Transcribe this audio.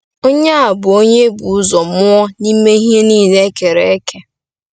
Onye a bụ “Onye e buru ụzọ mụọ n’ime ihe niile e kere eke.”